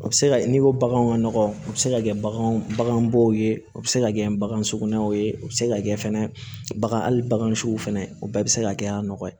O bɛ se ka n'i ko baganw ka nɔgɔ u bɛ se ka kɛ bagan baganw ye o bɛ se ka kɛ bagan sugunɛw ye o bɛ se ka kɛ fɛnɛ bagan siw fɛnɛ o bɛɛ bɛ se ka kɛ a nɔgɔ ye